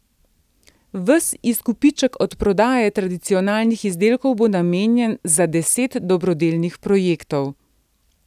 Ves izkupiček od prodaje tradicionalnih izdelkov bo namenjen za deset dobrodelnih projektov.